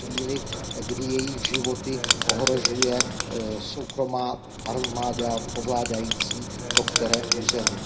ve chvíli, kdy jejich životy ohrožuje soukromá armáda ovládající to které území.